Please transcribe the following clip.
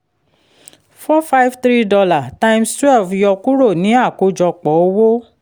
four five three dollar times twelve yọ kúrò ní àkójọpọ̀ owó